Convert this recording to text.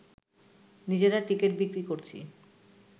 নিজেরা টিকিট বিক্রি করছি